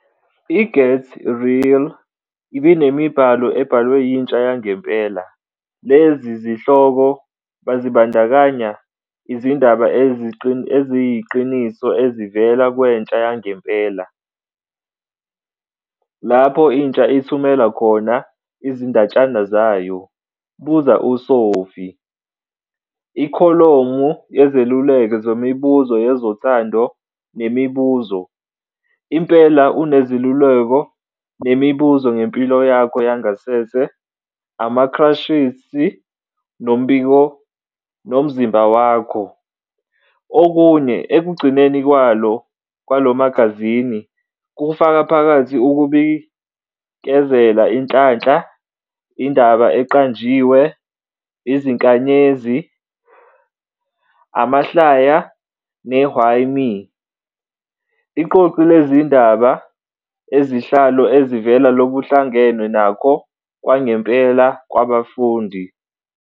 I-Get Real ibinemibhalo ebhalwe yintsha yangempela. Lezi zihloko bezibandakanya "Izindaba Eziyiqiniso Ezivela Kwentsha Yangempela", lapho intsha ithumela khona izindatshana zayo, "Buza uSophi", ikholomu yezeluleko zemibuzo yezothando, nemibuzo. Impela Unezeluleko nemibuzo ngempilo yakho yangasese, ama-crushes, nomzimba wakho. Okunye, ekugcineni kwalo magazini, kufaka phakathi ukubikezela inhlanhla, indaba eqanjiwe, izinkanyezi, amahlaya, ne- "Why Me?", Iqoqo lezindaba ezihlazo ezivela kokuhlangenwe nakho kwangempela kwabafundi.